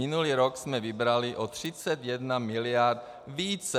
Minulý rok jsme vybrali o 31 mld. více.